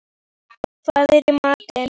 Dís, hvað er í matinn?